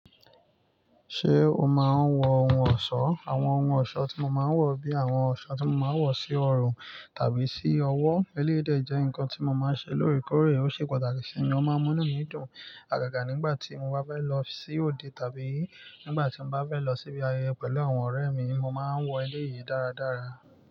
Ṣé o máa ń wọ ohun ọ̀ṣọ́? Àwọn ohun ọ̀ṣọ́ tí mo máa ń wọ̀ bíi àwọn ọ̀ṣọ́ tí mo máa ń wọ̀ sí ọrùn tàbí sí ọwọ́, eléèdè jẹ́ nǹkan tí mo máa ń ṣe lórí kórè, ó ṣe pàtàkì sì ni ó máa ń múnú mi dùn. Àgàgà nígbà tí mo bá fẹ́ lọ sí òde tàbí nígbà tí mo bá fẹ́ lọ síbi ayẹyẹ pẹ̀lú àwọn ọ̀rẹ́ mi, mo máa ń wọ eléèyí dáradára.